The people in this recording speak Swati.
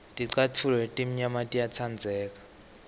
ticatfulo letimnyama tiyatsandleka